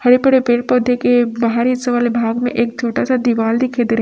हरे पड़े पेड़ पौधे के बाहरी हिस्से वाले भाग में एक छोटा सा दीवाल दिखाई दे र--